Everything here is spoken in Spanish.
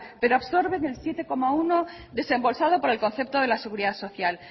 pero absorben el siete coma uno por ciento desembolsado por el concepto de la seguridad social